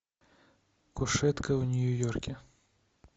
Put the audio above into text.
кушетка в нью йорке